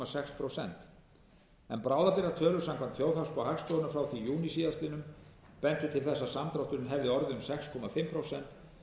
sex prósent en bráðabirgðatölur samkvæmt þjóðhagsspá hagstofunnar frá júní síðastliðinn bentu til þess að samdrátturinn hefði orðið um sex og hálft prósent